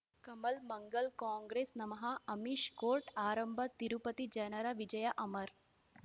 ಕಮಲ್ ಮಂಗಳ್ ಕಾಂಗ್ರೆಸ್ ನಮಃ ಅಮಿಷ್ ಕೋರ್ಟ್ ಆರಂಭ ತಿರುಪತಿ ಜನರ ವಿಜಯ ಅಮರ್